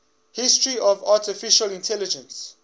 history of artificial intelligence